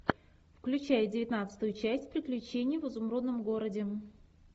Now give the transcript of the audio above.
включай девятнадцатую часть приключения в изумрудном городе